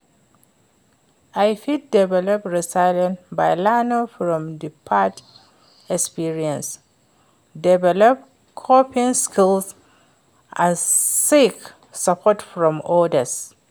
i fit develop resilience by learning from di past experiences, develop coping skills and seek support from odas.